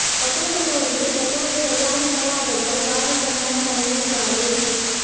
வத்தலக்குண்டு அருகே ஷட்டரை சரியாக மூடாததால் பாதி கண்மாய் தண்ணீர் காலி